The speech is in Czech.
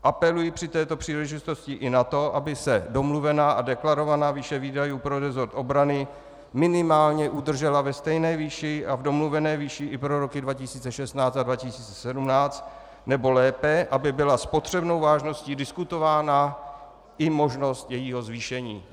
Apeluji při této příležitosti i na to, aby se domluvená a deklarovaná výše výdajů pro resort obrany minimálně udržela ve stejné výši a v domluvené výši i pro roky 2016 a 2017, nebo lépe, aby byla s potřebnou vážností diskutována i možnost jejího zvýšení.